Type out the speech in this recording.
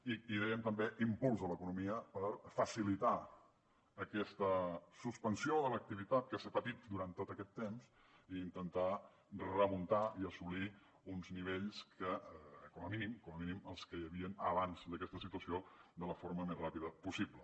i dèiem també impuls a l’economia per facilitar aquesta suspensió de l’activitat que s’ha patit durant tot aquest temps i intentar remuntar i assolir uns nivells que com a mínim com a mínim els que hi havien abans d’aquesta situació de la forma més ràpida possible